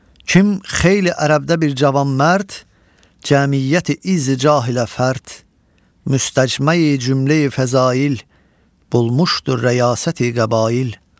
Kim xeyli ərəbdə bir cavan mərd, cəmiyyəti izzi cahilə fərd, müstəcməyi cümləyi fəzail, bulmuşdu rəyasəti qəbail.